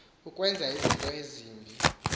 ukwenza into embi